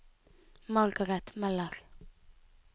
Margaret Møller